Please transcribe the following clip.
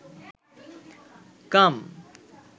কাম